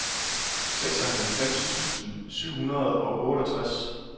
seksoghalvfems tusind syv hundrede og otteogtres